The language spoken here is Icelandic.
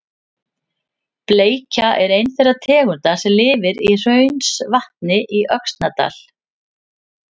Bleikja er ein þeirra tegunda sem lifir í Hraunsvatni í Öxnadal.